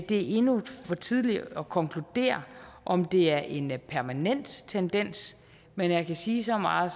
det er endnu for tidligt at konkludere om det er en permanent tendens men jeg kan sige så meget